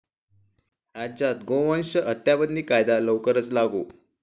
राज्यात गोवंश हत्याबंदी कायदा लवकरच लागू?